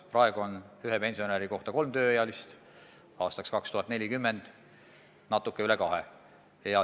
Praegu on ühe pensionäri kohta kolm tööealist, aastaks 2040 natuke üle kahe.